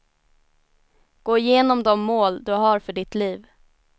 Gå igenom de mål du har för ditt liv.